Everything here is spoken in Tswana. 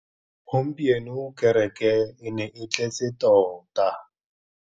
Gompieno kêrêkê e ne e tletse tota.